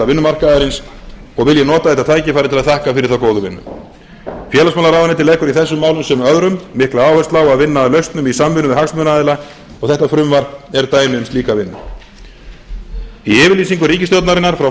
vinnumarkaðarins og vil ég nota þetta tækifæri til að þakka fyrir þá góðu vinnu félagsmálaráðuneytið leggur í þessum málum sem öðrum mikla áherslu á að vinna að lausnum í samvinnu við hagsmunaaðila og þetta frumvarp er dæmi um slíka vinnu í yfirlýsingu ríkisstjórnarinnar frá